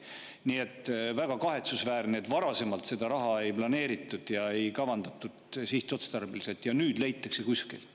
Nii et väga kahetsusväärne, et varasemalt seda raha ei planeeritud ja sihtotstarbeliselt ei kavandatud, ja nüüd, detsembris, see leitakse kuskilt.